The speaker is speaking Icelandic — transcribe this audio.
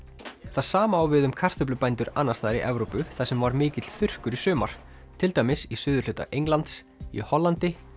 það sama á við um kartöflubændur annars staðar í Evrópu þar sem var mikill þurrkur í sumar til dæmis í suðurhluta Englands í Hollandi